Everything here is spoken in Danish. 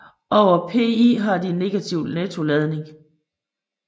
Over pI har de en negativ nettoladning